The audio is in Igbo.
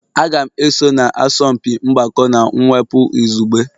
Aga m eso na asọmpi mgbakọ na mwepụ izugbe.